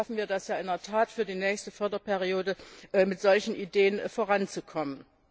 Vielleicht schaffen wir es ja in der Tat für die nächste Förderperiode, mit solchen Ideen voranzukommen.